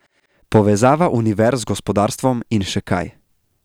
Povezava univerz z gospodarstvom in še kaj.